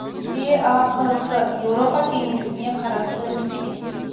еақс еуропа кеңесіне қарасты мекеме